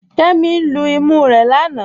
Kẹmi lú ìmú rẹ̀ lánà.